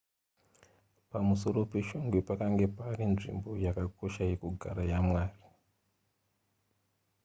pamusoro peshongwe pakanga pari nzvimbo yakakosha yekugara yamwari